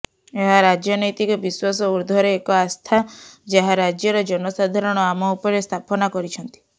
ଏହା ରାଜନୈତିକ ବିଶ୍ୱାସ ଊଦ୍ଧ୍ୱର୍ରେ ଏକ ଆସ୍ଥା ଯାହା ରାଜ୍ୟର ଜନସାଧାରଣ ଆମ ଉପରେ ସ୍ଥାପନା କରିଛନ୍ତି